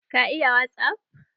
Ka iya wasup?